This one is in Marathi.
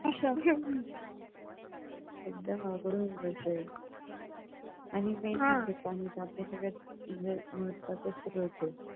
एकदम अवघड होऊन बसलंय आणि main म्हणजे पाणी सगळ्यात महत्वाचं स्रोत आहे